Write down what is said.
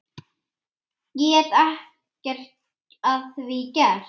Get ekkert að því gert.